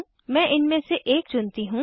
मैं इनमें से एक चुनती हूँ